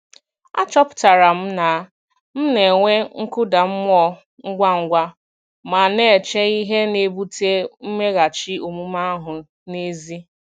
Achọpụtara m na m na-enwe nkụda mmụọ ngwa ngwa ma na-eche ihe na-ebute mmeghachi omume ahụ n'ezie.